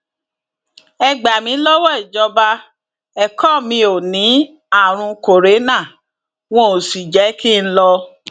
ẹ gbà mí lọwọ ìjọba ẹkọ mi ò ní àrùn kòrénà wọn ò sì jẹ kí n lọ